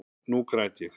Nú græt ég.